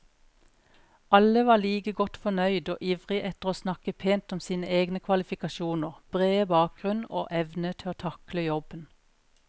Alle var like godt fornøyd og ivrig etter å snakke pent om sine egne kvalifikasjoner, brede bakgrunn og evne til å takle jobben.